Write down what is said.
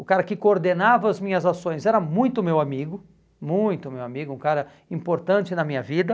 O cara que coordenava as minhas ações era muito meu amigo, muito meu amigo, um cara importante na minha vida.